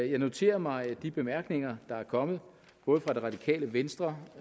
jeg noterer mig de bemærkninger der er kommet både fra det radikale venstre